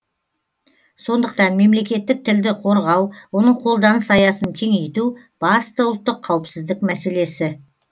сондықтан мемлекеттік тілді қорғау оның қолданыс аясын кеңейту басты ұлттық қауіпсіздік мәселесі